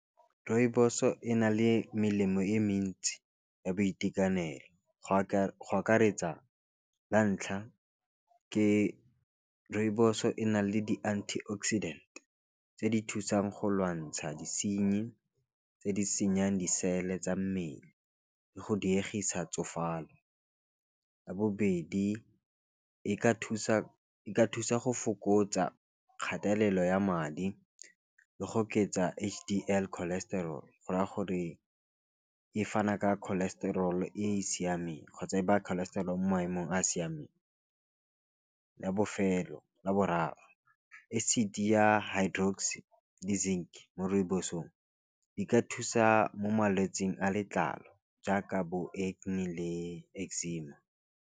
Rooibos-o e na le melemo e mentsi ya boitekanelo go akaretsa la ntlha ke rooibos-o o e na le di antioxidant tse di thusang go lwantsha disenyi tse di senyang di-cell-e tsa mmele, le go diegisa tsofalo. Ya bobedi e ka thusa go fokotsa kgatelelo ya madi, le go oketsa H_D_L cholestrol, go raya gore e fana ka cholesterol e e siameng, kgotsa e ba cholesterol mo maemong a a siameng. Ya bofelo ya boraro acid ya hidrox le zinc, mo rooibos-ong di ka thusa mo malwetsing a letlalo jaaka bo acne le eczema.